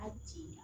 A tigi